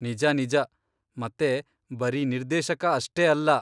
ನಿಜ ನಿಜ, ಮತ್ತೆ ಬರೀ ನಿರ್ದೇಶಕ ಅಷ್ಟೇ ಅಲ್ಲ.